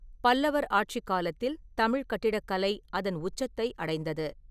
பல்லவர் ஆட்சிக் காலத்தில் தமிழ்க் கட்டிடக்கலை அதன் உச்சத்தை அடைந்தது.